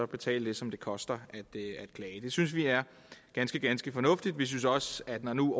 betale det som det koster at klage det synes vi er ganske ganske fornuftigt vi synes også at når nu